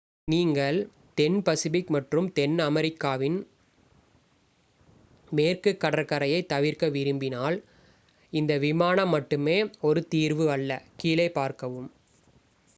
நீங்கள் தென் பசிபிக் மற்றும் தென் அமெரிக்காவின் மேற்கு கடற்கரையைத் தவிர்க்க விரும்பினால் இந்த விமானம் மட்டுமே ஒரு தீர்வு அல்ல. கீழே பார்க்கவும்